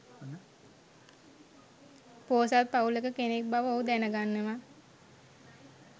පොහොසත් පවුලක කෙනෙක් බව ඔහු දැනගන්නවා.